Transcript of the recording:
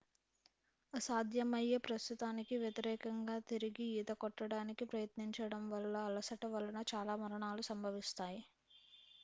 అసాధ్యమయ్యే ప్రస్తుతానికి వ్యతిరేకంగా తిరిగి ఈత కొట్టడానికి ప్రయత్నించడం వల్ల అలసట వలన చాలా మరణాలు సంభవిస్తాయి